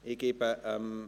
– Dies ist der Fall.